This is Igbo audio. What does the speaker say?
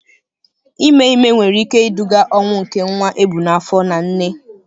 Ime ime nwere ike iduga ọnwụ nke nwa ebu n'afọ na nne.